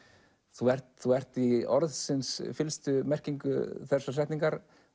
þú ert þú ert í orðsins fyllstu merkingu þessarar setningar